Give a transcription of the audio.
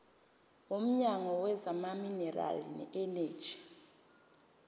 womnyango wezamaminerali neeneji